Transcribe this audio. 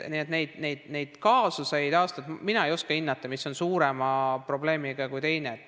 Neid kaasuseid mina ei oska hinnata, et mis on suurem probleem kui teine.